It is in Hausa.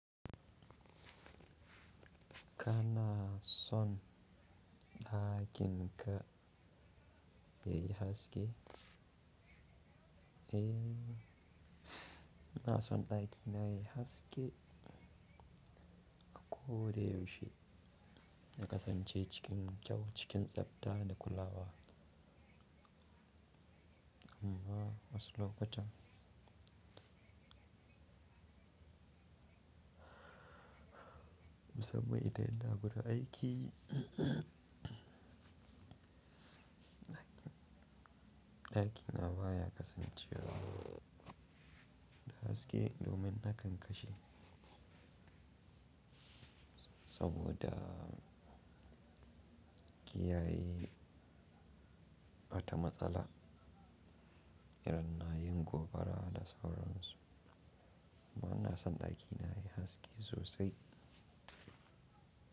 Kana son ɗakin ka yayi haske? Eh, ina son ɗakina yayi haske. Ko dai yaushe na kasance cikin kyau cikin tsabta da kulawa. Amma wasu lokutan, musamman idan ina gurin aiki, ɗaki na baya kasancewa da haske domin na kan kashe. Saboda kiyaye mata matsala idan na yi gobara da sauransu. Amma na son ɗakina yayi haske sosai.